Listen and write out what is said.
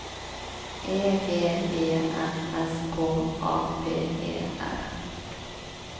E G E N S K A P E R